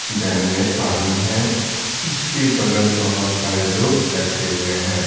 Dam में पानी है जिसके बगल बहुत सारे लोग बैठे हुए हैं।